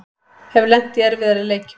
Hef lent í erfiðari leikjum